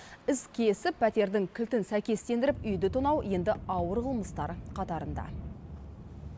іс кезіп пәтердің кілтін сәйкестендіріп үйді тонау енді ауыр қылмыстар қатарында